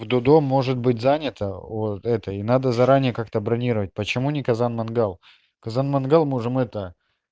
у дудо может быть занято вот это и надо заранее как-то бронировать почему не казан-мангал казан-мангал можем это